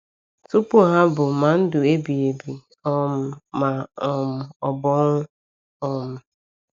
Tupu ha bụ ma ndụ ebighi ebi um ma um ọ bụ ọnwụ. um